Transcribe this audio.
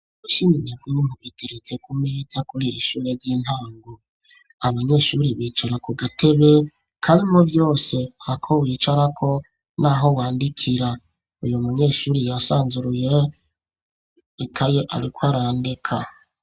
Bashiminyaguyi mpubiteretse ku meza kuriri ishure ry'intango abanyeshuri bicara ku gatebe karimo vyose ako wicara ko n'aho wandikira uyu munyeshuri yasanzuruye rikaye ariko arandika.